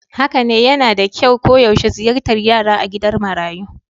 Haka ne, yana da kyau koyaushe ziyartar yara a gidan marayu